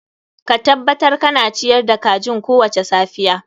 Ka tabbatar kana ciyar da kajin kowace safiya